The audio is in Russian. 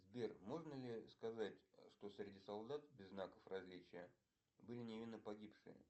сбер можно ли сказать что среди солдат без знаков различия были невинно погибшие